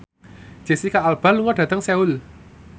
Jesicca Alba lunga dhateng Seoul